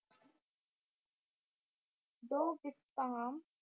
ਦੋ ਬਿਸਤਾਮ